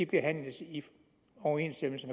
behandles i overensstemmelse